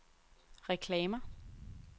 reklamer